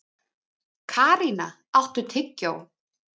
Karína, áttu tyggjó?